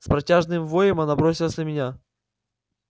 с протяжным воем она бросилась на меня